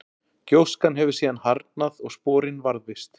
gjóskan hefur síðan harðnað og sporin varðveist